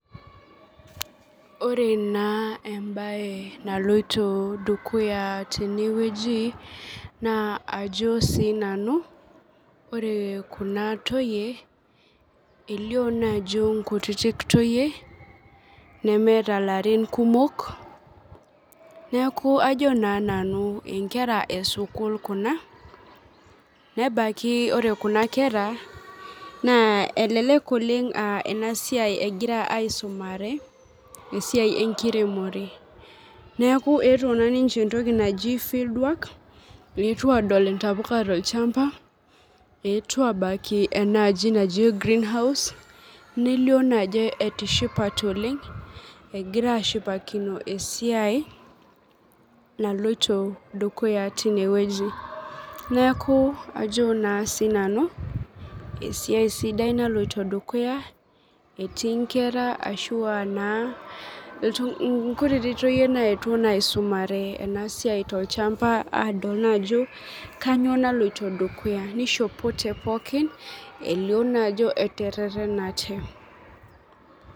Ore naa embaye naloito dukuya tenewueji naa ajo sii nanu, ore kuna toyie elio naajo nkutitik toyie nemeeta larin kumok. Neaku ajo naa nanu inkera esukul kuna nebaiki ore kuna kera naa elelek oleng' [aa] enasiai egira aaisumare, esiai enkiremore. Neaku eetuo naaninche entoki naji  fieldwork, eetuo adol intapuka tolchamba, eetuo abaki enaaji naji greenhouse nelio naajo etishipate oleng'. Egiraashipakino esiai naloito dukuya tinewueji. Neakuu ajo naa sinanu esiai sidai naloito dukuya etii nkera ashuu aanaa iltung', inkutiti toyie nayetuo naa aisumare enasiai tolchamba aadol naajo kanyoo naloito dukuya neishopote pookin elio naajo eteretenate.